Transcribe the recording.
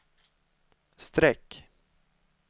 streck